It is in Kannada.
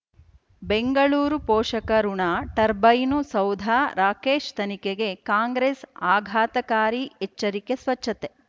ಬೆಂಗಳೂರು ಪೋಷಕಋಣ ಟರ್ಬೈನು ಸೌಧ ರಾಕೇಶ್ ತನಿಖೆಗೆ ಕಾಂಗ್ರೆಸ್ ಆಘಾತಕಾರಿ ಎಚ್ಚರಿಕೆ ಸ್ವಚ್ಛತೆ